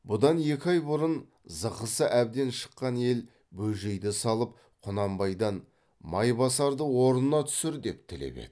бұдан екі ай бұрын зықысы әбден шыққан ел бөжейді салып құнанбайдан майбасарды орнына түсір деп тілеп еді